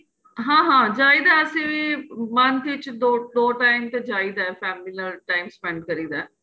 ਹਾਂ ਹਾਂ ਜਾਈਦਾ ਏ ਅਸੀਂ ਵੀ month ਚ ਦੋ time ਤੇ ਜਾਈਦਾ ਏ family ਨਾਲ time spent ਕਰੀਦਾ ਏ